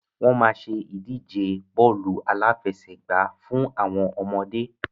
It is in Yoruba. Wọn máa ṣe ìdíje bọ́ọ́lù aláfẹsẹ̀gba fún àwọn ọmọdé